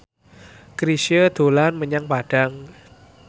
Chrisye dolan menyang Padang